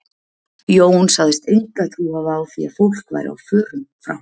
Jón sagðist enga trú hafa á því að fólk væri á förum frá